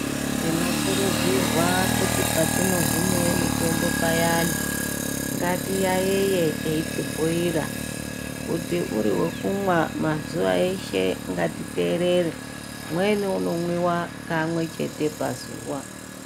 Tinokurudzirwa kuti patinohwiniye mitombo payani ngati yayeye eti bhuyira kuti uriwekunwa mazuva eshe ngatiterere, umweni unomwiwa kamwechete pazuwa.